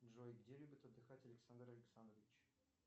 джой где любит отдыхать александр александрович